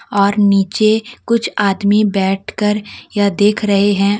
और निचे कुछ आदमी बैठ कर ये देख रहे है।